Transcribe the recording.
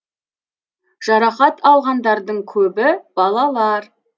жарақат алғандардың көбі балалар